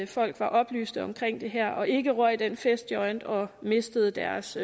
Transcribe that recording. folk var oplyste om det her og ikke røg den festjoint og mistede deres